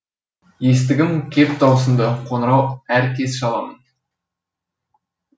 естігім кеп даусыңды қоңырау әр кез шаламын